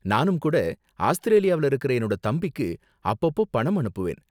நானும் கூட ஆஸ்திரேலியாவுல இருக்குற என்னோட தம்பிக்கு அப்பப்போ பணம் அனுப்புவேன்.